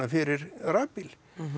fyrir rafbíl